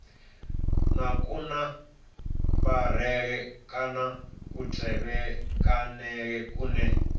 na kunambarele kana kutevhekanele kune